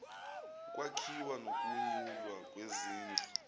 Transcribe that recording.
ukwakhiwa nokunyulwa kwezindlu